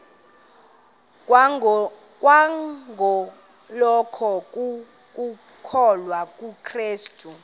kwangokholo lokukholwa kukrestu